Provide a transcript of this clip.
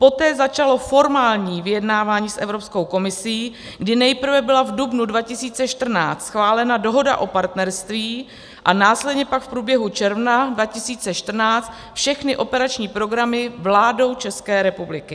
Poté začalo formální vyjednávání s Evropskou komisí, kdy nejprve byla v dubnu 2014 schválena Dohoda o partnerství a následně pak v průběhu června 2014 všechny operační programy vládou České republiky.